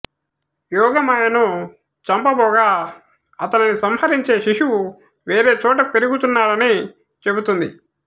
యోగమాయను చంపబోగా అతనిని సంహరించే శిశువు వేరే చోట పెరుగుతున్నాడని చెబుతుంది